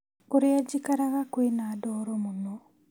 Kũrĩa njikaraga kwĩna ndoro mũno